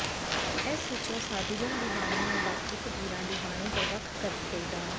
ਇਸ ਵਿਚੋਂ ਸਾਧੂਜਨ ਦੀ ਬਾਣੀ ਨੂੰ ਬਾਕੀ ਫ਼ਕੀਰਾਂ ਦੀ ਬਾਣੀ ਤੋਂ ਵੱਖ ਕਰਕੇ ਡਾ